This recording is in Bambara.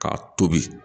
K'a tobi